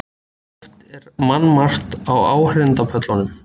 Oft var mannmargt á áheyrendapöllunum.